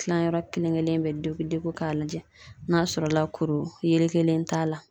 Tilayɔrɔ kelen kelen bɛ degu degu k'a lajɛ n'a sɔrɔ la kuru yelekelen t'a la.